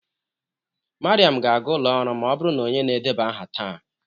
Mariam ga-aga ụlọ ọrụ ma ọ bụrụ na onye na-edeba aha taa.